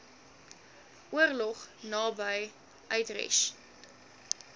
oorlog naby utrecht